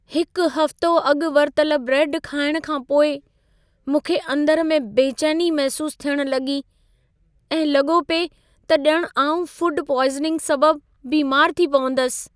हिकु हफ़्तो अॻु वरितल ब्रेड खाइणु खां पोइ, मूंखे अंदरु में बेचैनी महिसूसु थियणु लॻी ऐं लॻो पिए त ॼणु आउं फ़ूड पॉइज़निंग सबबि बीमारु थी पवंदसि।